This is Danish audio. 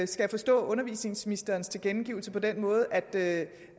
jeg forstå undervisningsministerens tilkendegivelse på den måde at